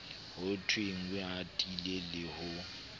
ho thwenge atile le ho